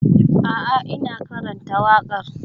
A'a, ina karanta waƙar.